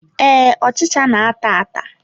Ee, ọchịcha na-ata ata.